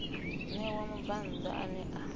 ṋewa mubvann ḓa ane a